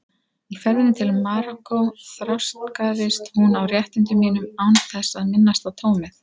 Í ferðinni til Marokkó þrástagaðist hún á réttindum mínum án þess að minnast á tómið.